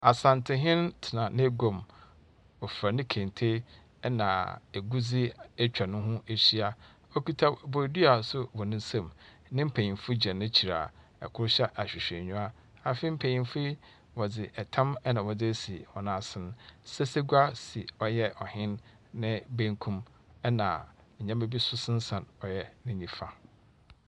Asantehen tena n'aguam. Ofura ne kente na agudzi ne ho ahyia. Okita bodua nso wɔ ne nsa mu. Ne mpanyimfo gyina n'akyir a kor hyɛ ahwehwɛniwa. Afei yi mpanyimfo yi, wɔdze tam na wɔdze asi hɔn ase. Asesegua si ɔyɛ ɔhen ne benkum na nnema bi nso sensan ne nyimfa.